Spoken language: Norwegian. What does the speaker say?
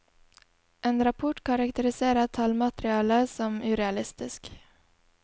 En rapport karakteriserer tallmaterialet som urealistisk.